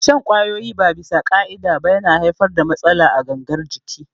Shan ƙwayoyi ba bisa ƙa'ida ba yana haifar da matsala a gangar jiki